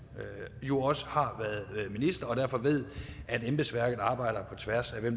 jo også har været minister og derfor ved at embedsværket arbejder på tværs af